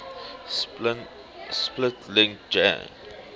split link jan